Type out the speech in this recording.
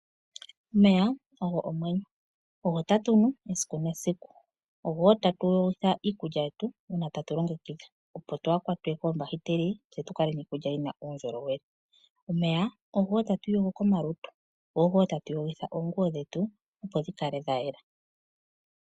Omeya ogo omwenyo ogo tatu nu esiku nesiku, ogo wo tatu yogitha iikulya yetu uuna tatu longekidha opo twaaha kwatwe koombahiteli tse tukale niikulya yina uundjolowele. Omeya ogo wo tatu iyogo komalutu, go ogo wo tatu yogitha oonguwo dhetu opo dhikale dhayela.